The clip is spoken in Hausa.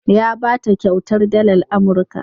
Ya ba ta kyautar dalar Amurka.